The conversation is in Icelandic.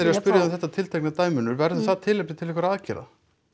að spyrja þig um þetta tiltekna dæmi Unnur verður það tilefni til einhverra aðgerða